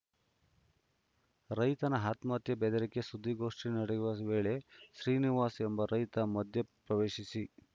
ರೈತನ ಆತ್ಮಹತ್ಯೆ ಬೆದರಿಕೆ ಸುದ್ದಿಗೋಷ್ಠಿ ನಡೆಯುವ ವೇಳೆ ಶ್ರೀನಿವಾಸ್‌ ಎಂಬ ರೈತ ಮಧ್ಯ ಪ್ರವೇಶಿಸಿ